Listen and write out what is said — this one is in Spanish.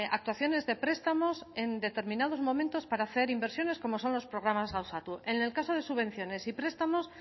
actuaciones de prestamos en determinados momentos para hacer inversiones como son los programas gauzatu en el caso de subvenciones y prestamos